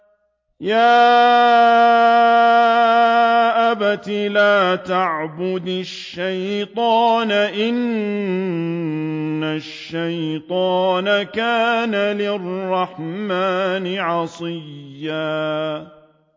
يَا أَبَتِ لَا تَعْبُدِ الشَّيْطَانَ ۖ إِنَّ الشَّيْطَانَ كَانَ لِلرَّحْمَٰنِ عَصِيًّا